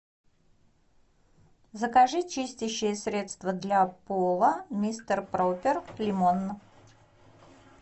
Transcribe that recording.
закажи чистящее средство для пола мистер пропер лимон